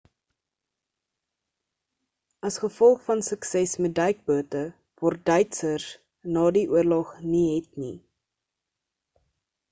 as gevolg van hul sukses met duikbote word duitsers na die oorlog nie het nie